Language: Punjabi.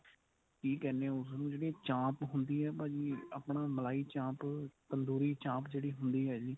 ਕੀ ਕਹਿਨੇ ਆ ਉਸਨੂੰ ਜਿਹੜੀ ਚਾਂਪ ਹੁੰਦੀ ਏ ਭਾਜੀ ਆਪਣਾ ਮਲਾਈ ਚਾਂਪ ਤੰਦੂਰੀ ਚਾਂਪ ਜਿਹੜੀ ਹੁੰਦੀ ਏ ਜੀ